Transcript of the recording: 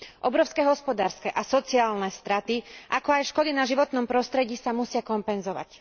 Obrovské hospodárske a sociálne straty, ako aj škody na životnom prostredí sa musia kompenzovať.